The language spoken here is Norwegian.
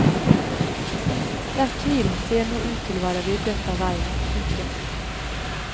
Den tvilen ser nå ut til å være ryddet av veien. punktum